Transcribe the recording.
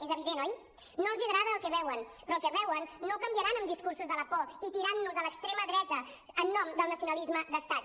és evident oi no els agrada el que veuen però el que veuen no ho canviaran amb discursos de la por i tirant nos l’extrema dreta en nom del nacionalisme d’estat